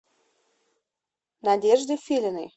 надежде филиной